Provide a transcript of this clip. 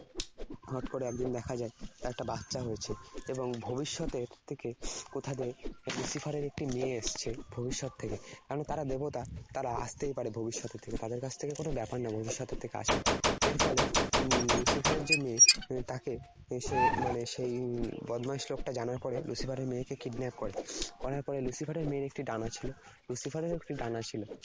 উম Lucifer এর যে মেয়ে, তাকে সে মানে সে উম বদমাশ লোকটা জানার পরে Lucifer এর মেয়েকে kidnap করে। করার পরে Lucifer এর মেয়ের একটি ডানা ছিল Lucifer